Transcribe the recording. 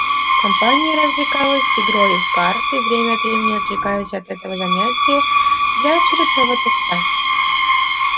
компания развлекалась игрой в карты время от времени отвлекаясь от этого занятия для очередного тоста